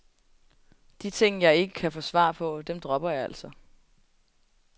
De ting, jeg ikke kan få svar på, dem dropper jeg altså.